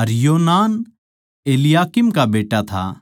अर योनान इलयाकीम का बेट्टा था